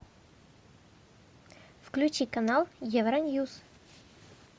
включи канал евроньюс